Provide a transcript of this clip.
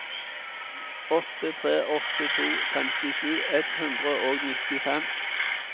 åtte tre åtte to femtisju ett hundre og nittifem